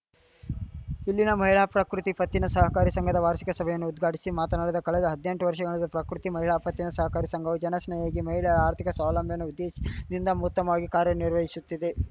ಇಲ್ಲಿನ ಮಹಿಳಾ ಪ್ರಕೃತಿ ಪತ್ತಿನ ಸಹಕಾರ ಸಂಘದ ವಾರ್ಷಿಕ ಸಭೆಯನ್ನು ಉದ್ಘಾಟಿಸಿ ಮಾತನಾಡಿದ ಕಳೆದ ಹದ್ನೆಂಟು ವರ್ಷಗಳಿಂದ ಪ್ರಕೃತಿ ಮಹಿಳಾ ಪತ್ತಿನ ಸಹಕಾರ ಸಂಘವು ಜನಸ್ನೇಹಿಯಾಗಿ ಮಹಿಳೆಯರ ಆರ್ಥಿಕ ಸ್ವಾವಲಂಬನೆಯ ಉದ್ದೇಶದಿಂದ ಉತ್ತಮವಾಗಿ ಕಾರ್ಯನಿರ್ವಹಿಶುತ್ತಿದೆ